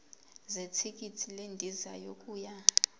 zethikithi lendiza yokuya